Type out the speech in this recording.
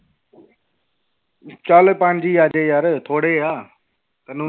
ਚੱਲ ਪੰਜ ਹੀ ਆ ਜਾਏ ਯਾਰ ਥੋੜ੍ਹੇ ਆ ਤੈਨੂੰ